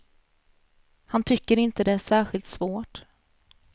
Han tycker inte det är särskilt svårt.